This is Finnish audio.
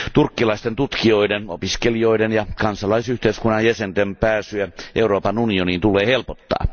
Turkkilaisten tutkijoiden, opiskelijoiden ja kansalaisyhteiskunnan jäsenten pääsyä Euroopan unioniin tulee helpottaa.